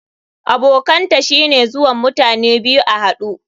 Abokanta shine zuwan mutane biyu a hadu.